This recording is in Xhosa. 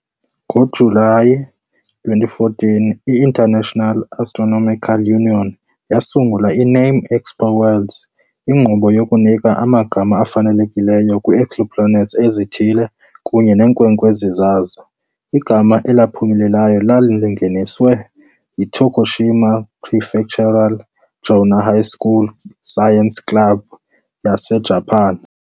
NgoJulayi 2014, i- International Astronomical Union yasungula i-NameExoWorlds, inkqubo yokunika amagama afanelekileyo kwii-exoplanets ezithile kunye neenkwenkwezi zazo. Igama eliphumeleleyo lingeniswe yiTokushima Prefectural Jonan High School Science Club yaseJapan .